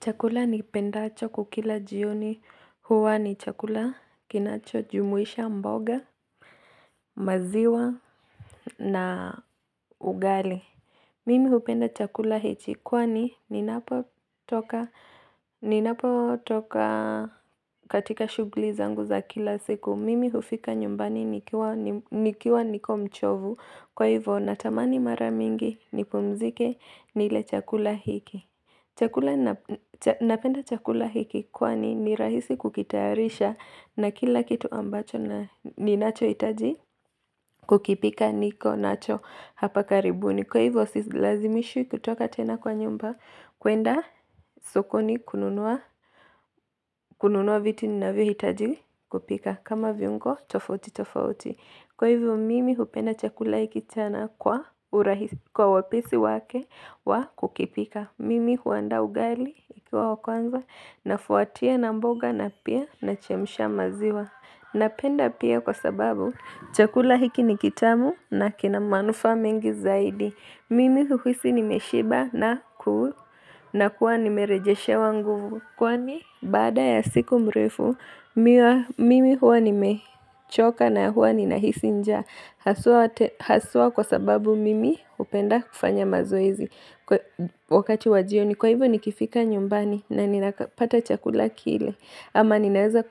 Chakula nikipendacho kukila jioni huwa ni chakula kinacho jumuisha mboga maziwa na ugali. Mimi hupenda chakula hichi kwani ninapo toka katika shugli zangu za kila siku. Mimi hufika nyumbani nikiwa mchovu kwa hivyo natamani mara ningi nipumzike nile chakula hiki. Napenda chakula hiki kwani ni rahisi kukitayarisha na kila kitu ambacho ni nacho itaji kukipika niko nacho hapa karibuni Kwa hivyo si lazimishu kutoka tena kwa nyumba kwenda sokoni kununua vitu ni navio hitaji kupika kama viungo tofauti tofauti Kwa hivyo mimi hupenda chakula hiki kwa urahisi kwa wapisi wake wa kukipika Mimi huanda ugali ukiwa wakwanza na fuatia na mboga na pia na chemsha maziwa. Napenda pia kwa sababu chakula hiki ni kitamu na kina manufa mengi zaidi. Mimi huisi nimeshiba na kuwa nime rejeshe wa nguvu. Kwani bada ya siku mrefu, mimi huwa nime choka na huwa nina hisi njaa. Haswa kwa sababu mimi hupenda kufanya mazoizi wakati wajio ni kwa hivyo ni kifika nyumbani na nina pata chakula kile ama ninaweza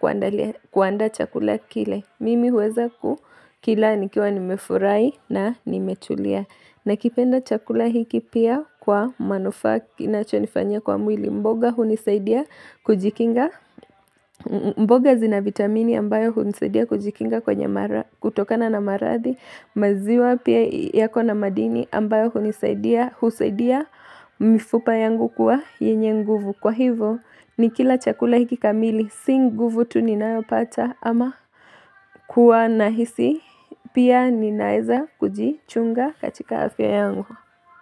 kuanda chakula kile, mimi huweza kukila nikiwa nimefurai na nimetulia na kipenda chakula hiki pia kwa manufaa inacho nifanyia kwa mwili mboga hunisaidia kujikinga mboga zina vitamini ambayo hunsaidia kujikinga kutokana na maradhi maziwa pia yako na madini ambayo husaidia mifupa yangu kuwa yenye nguvu kwa hivyo ni kila chakula hiki kamili si nguvu tu ninayopata ama kuwa nahisi pia ninaweza kujichunga katika afya yangu.